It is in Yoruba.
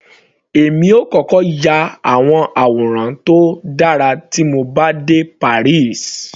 Èmi yóò kọ́kọ́ ya àwọn àwòrán tó dára tí mo bá dé Paris.